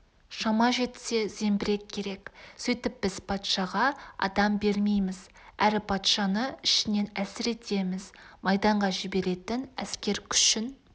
шама жетсе зеңбірек керек сөйтіп біз патшаға адам бермейміз әрі патшаны ішінен әлсіретеміз майданға жіберетін әскер-күшін